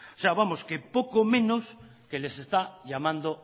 vamos que poco menos que les está llamando